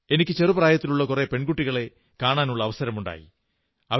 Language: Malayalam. എനിക്ക് ചെറു പ്രായത്തിലുള്ള കുറെ പെൺകുട്ടികളെ കാണാനുള്ള അവസരമുണ്ടായി